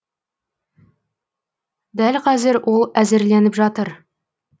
дәл қазір ол әзірленіп жатыр